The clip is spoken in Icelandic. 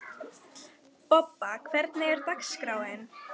Bobba, hvernig er dagskráin?